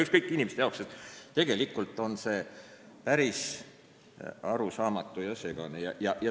See süsteem on päris arusaamatu ja segane.